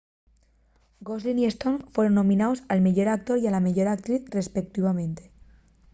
gosling y stone fueron nominaos al meyor actor y a la meyor actriz respeutivamente